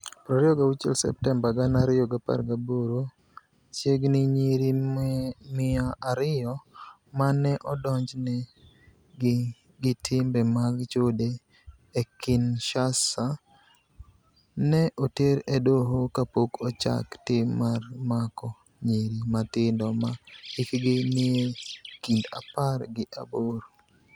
26 Septemba 2018 Chiegnii niyiri mia ariyo ma ni e odonijni egi gi timbe mag chode e Kinishasa, ni e oter e doho kapok ochak tim mar mako niyiri matinido ma hikgi niie kinid apar gi aboro.